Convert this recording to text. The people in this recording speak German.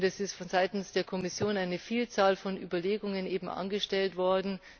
Es ist von Seiten der Kommission eine Vielzahl von Überlegungen angestellt worden.